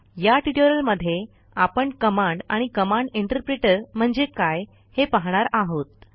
या ट्युटोरियलमध्ये आपण कमांड आणि कमांड इंटरप्रिटर म्हणजे काय हे पाहणार आहोत